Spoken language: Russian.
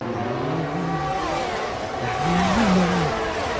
да ну нахуй да ну нахуй